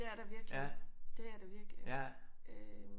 Det er der virkelig det er der virkelig øh